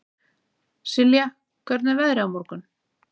Silja, hvernig er veðrið á morgun?